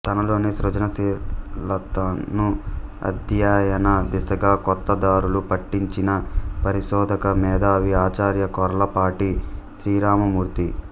తనలోని సృజనశీలతను అధ్యయన దిశగా కొత్త దారులు పట్టించిన పరిశోధక మేధావి ఆచార్య కొర్లపాటి శ్రీరామమూర్తి